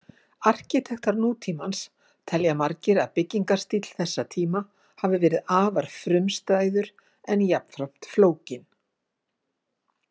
Arkitektar nútímans telja margir að byggingarstíll þessa tíma hafi verið afar frumstæður en jafnframt flókinn.